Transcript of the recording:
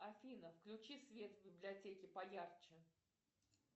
афина включи свет в библиотеке поярче